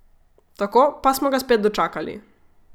Tako, pa smo ga spet dočakali!